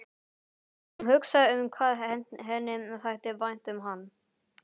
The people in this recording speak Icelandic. Hún hugsaði um hvað henni þætti vænt um hann.